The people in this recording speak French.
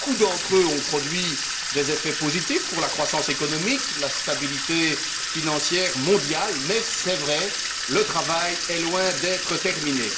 Beaucoup d'entre eux ont produit des effets positifs pour la croissance économique, la stabilité financière mondiale même s'il est vrai que le travail est loin d'être terminé.